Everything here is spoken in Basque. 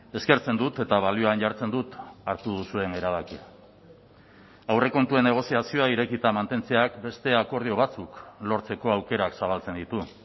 eskertzen dut eta balioan jartzen dut hartu duzuen erabakia aurrekontuen negoziazioa irekita mantentzeak beste akordio batzuk lortzeko aukerak zabaltzen ditu